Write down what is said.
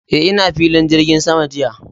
Eh, ina filin jirgin sama jiya.